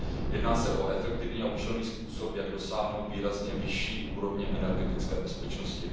Jedná se o efektivní a účelný způsob, jak dosáhnout výrazně vyšší úrovně energetické bezpečnosti.